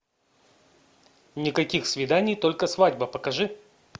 никаких свиданий только свадьба покажи